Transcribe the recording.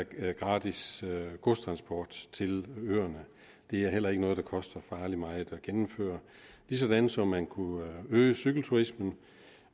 gratis godstransport til øerne det er heller ikke noget der koster farligt meget at gennemføre ligesådan som man kunne øge cykelturismen